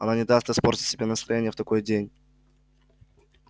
она не даст испортить себе настроение в такой день